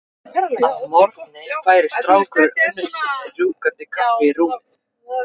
Að morgni færir strákurinn unnustunni rjúkandi kaffi í rúmið.